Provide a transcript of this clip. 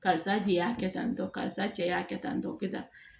Karisa de y'a kɛ tan tɔ karisa cɛ y'a kɛ tan tɔ kɛ tan